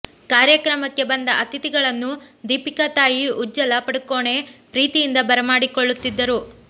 ಕಾರ್ಯಕ್ರಮಕ್ಕೆ ಬಂದ ಅತಿಥಿಗಳನ್ನು ದೀಪಿಕಾ ತಾಯಿ ಉಜ್ಜಲ ಪಡುಕೋಣೆ ಪ್ರೀತಿಯಿಂದ ಬರಮಾಡಿಕೊಳ್ಳುತ್ತಿದ್ದರು